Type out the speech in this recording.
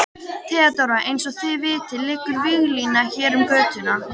THEODÓRA: Eins og þið vitið liggur víglína hér um götuna.